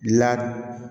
La